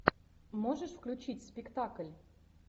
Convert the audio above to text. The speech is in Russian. можешь включить спектакль